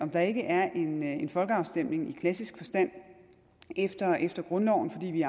der ikke er en en folkeafstemning i klassisk forstand efter efter grundloven fordi vi